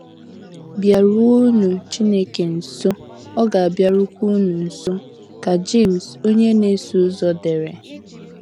“ BỊARUONỤ Chineke nso, Ọ ga - abịarukwa unu nso, ” ka Jemes onye na - eso ụzọ dere.